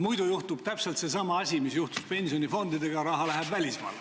Muidu juhtub täpselt seesama asi, mis juhtus pensionifondidega: raha läheb välismaale.